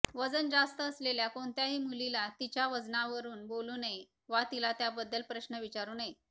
वजन जास्त असलेल्या कोणत्याही मुलीला तिच्या वजनावरून बोलू नये वा तिला त्याबद्दल प्रश्न विचारू नयेत